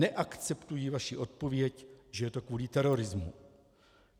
Neakceptuji vaši odpověď, že je to kvůli terorismu.